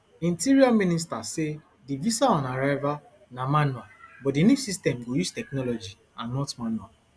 interior minister sa di visaonarrival na manual but di new system go use technology and not manual